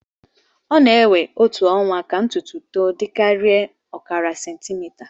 ọ na-ewe otu ọnwa ka ntutu to dịkarịa ọkara sentimita